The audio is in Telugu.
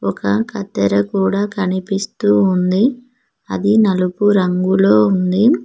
ఒక కత్తెర కూడా కనిపిస్తూ ఉంది అది నలుపు రంగులో ఉంది.